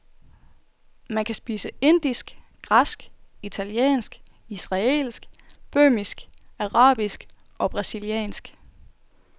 Man kan spise indisk, græsk, italiensk, israelsk, böhmisk, arabisk eller brasiliansk.